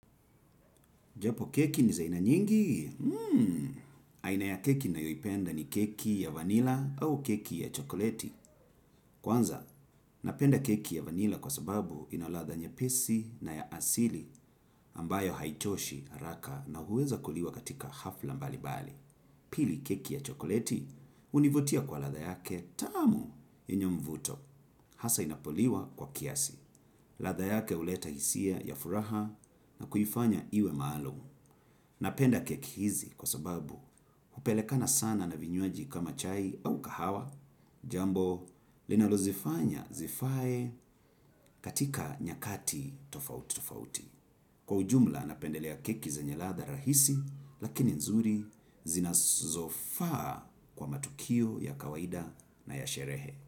Japo keki ni za ina nyingi? Mmm! Aina ya keki na yoipenda ni keki ya vanila au keki ya chokoleti. Kwanza, napenda keki ya vanila kwa sababu inaladha nye pesi na ya asili ambayo haichoshi haraka na huweza kuliwa katika hafla mbali mbali. Pili keki ya chokoleti, univutia kwa latha yake tamu yenye mvuto. Hasa inapoliwa kwa kiasi. Latha yake uleta hisia ya furaha na kuifanya iwe maalum. Napenda keki hizi kwa sababu hupelekana sana na vinywaji kama chai au kahawa jambo linalo zifanya zifae katika nyakati tofauti tofauti. Kwa ujumla napendelea keki zenye latha rahisi lakini nzuri zinazofaa kwa matukio ya kawaida na yasherehe.